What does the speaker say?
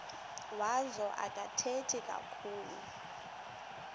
wazo akathethi kakhulu